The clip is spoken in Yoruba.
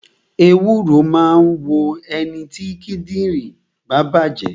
Ewúro máa ń wo ẹniti kíndìnrín bá bàjé